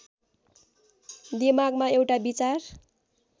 दिमागमा एउटा विचार